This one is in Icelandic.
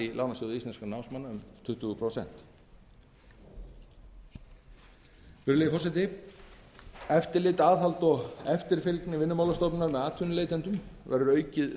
því loknu skýrari skyldur atvinnuleitenda gagnvart vinnumálastofnun eftirlit aðhald og eftirfylgni vinnumálastofnunar með atvinnuleitendum verður aukið samkvæmt